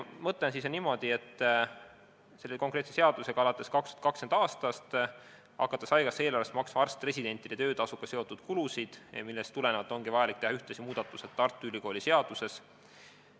Mõte on selline, et selle konkreetse seaduse alusel hakatakse alates 2020. aastast haigekassa eelarvest maksma kinni arst-residentide töötasuga seotud kulusid, millest tulenevalt ongi vaja teha ühtlasi muudatused Tartu Ülikooli seaduses.